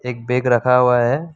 एक बैग रखा हुआ है।